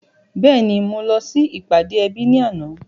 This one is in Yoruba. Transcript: Bẹ́ẹ̀ni mo lọ sí ìpàdé ẹbí ní àná.